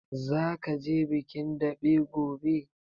Zaka je bikin daɓe gobe?